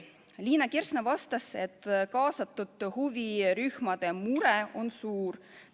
Liina Kersna vastas, et kaasatud huvirühmade mure on suur.